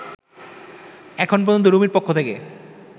এখন পর্যন্ত রুমির পক্ষ থেকে